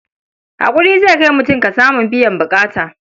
Haƙuri zai kai mutum ga samun biyan buƙata.